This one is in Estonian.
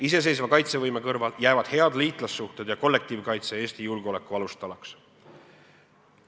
Iseseisva kaitsevõime kõrval jäävad head liitlassuhted ja kollektiivkaitse Eesti julgeoleku alustalaks.